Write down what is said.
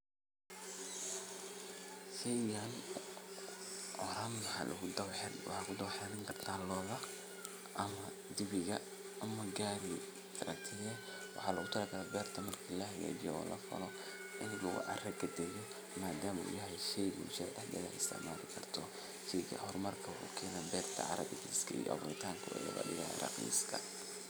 Marka wacyigelinta la sameeyo, talaabada labaad waxay noqonaysaa in la diyaariyo dhul ku habboon beeraleynta. Bulshada waa in laga qaybgeliyo diyaarinta beerta, iyagoo loo qaybiyo shaqooyinka sida nadiifinta dhulka, qodista godadka lagu beerayo, iyo diyaarinta abuurka la rabo in la beero. Intaa kadib, waa in la helo tababarro lagu baranayo sida ugu fiican ee loo beero geedaha ama dalagyada la doonayo. Tababarradan waxaa laga heli karaa khubaro deegaanka ah ama hay’adaha ka shaqeeya arrimaha beeraleynta.